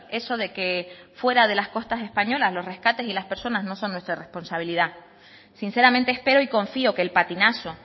eso de que fuera de las costas españolas los rescates y las personas no son nuestra responsabilidad sinceramente espero y confío que el patinazo